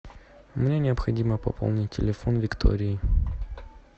мне необходимо пополнить телефон виктории